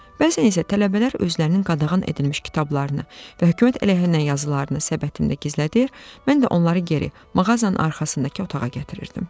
Bəzən isə tələbələr özlərinin qadağan edilmiş kitablarını və hökumət əleyhinə yazılarını səbətində gizlədir, mən də onları geri, mağazanın arxasındakı otağa gətirirdim.